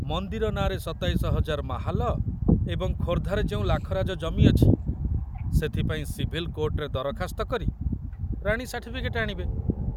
ମନ୍ଦିର ନାଁରେ ସତାଇଶ ହଜାର ମାହାଲ ଏବଂ ଖୋର୍ଦ୍ଧାରେ ଯେଉଁ ଲାଖରାଜ ଜମି ଅଛି, ସେଥିପାଇଁ ସିଭିଲ କୋର୍ଟରେ ଦରଖାସ୍ତ କରି ରାଣୀ ସାର୍ଟିଫିକେଟ ଆଣିବେ।